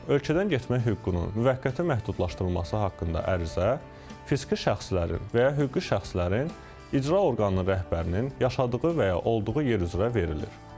Ölkədən getmək hüququnun müvəqqəti məhdudlaşdırılması haqqında ərizə, fiziki şəxslərin və ya hüquqi şəxslərin icra orqanının rəhbərinin yaşadığı və ya olduğu yer üzrə verilir.